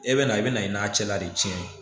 E bɛ na i bɛna i n'a cɛla de tiɲɛn ye